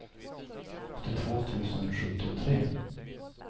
åttiotvå tusen sjuttiotre